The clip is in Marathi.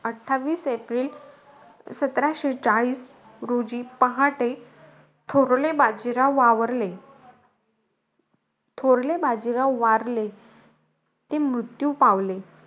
अठ्ठावीस एप्रिल सतराशे चाळीस रोजी पहाटे, थोरले बाजीराव वावरले थोरले बाजीराव वारले. ते मृत्यू पावले.